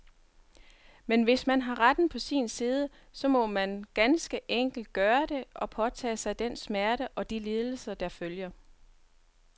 Men hvis man har retten på sin side, så må man ganske enkelt gøre det, og påtage sig den smerte og de lidelser, der følger.